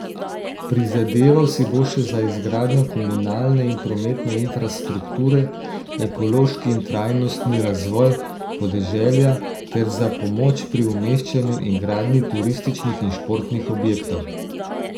Prizadeval si bo še za izgradnjo komunalne in prometne infrastrukture, ekološki in trajnostni razvoj podeželja ter za pomoč pri umeščanju in gradnji turističnih in športnih objektov.